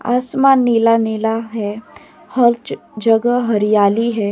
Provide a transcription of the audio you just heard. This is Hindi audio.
आसमान नीला नीला है। हर जगह हरियाली है।